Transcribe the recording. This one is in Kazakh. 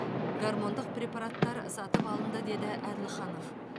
гормондық препараттар сатып алынды деді әділханов